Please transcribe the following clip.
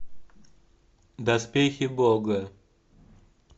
доспехи бога